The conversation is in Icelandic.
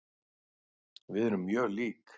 Við erum mjög lík.